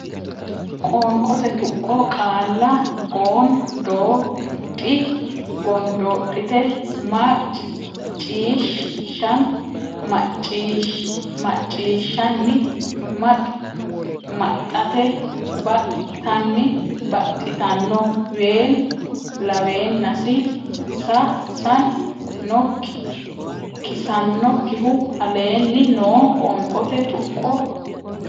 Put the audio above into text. Qoonqote Tuqqo Qaalla gon doo dhi gondoodhite mac ciish shan macciishshanni max maxxate bax tan baxxitanno ween laweennasi san nok kisannokkihu aleenni noo qoonqote tuqqo.